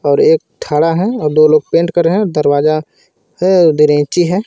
और एक ठड़ा है और दो लोग पेंट कर रहे हैं दरवाजा है .]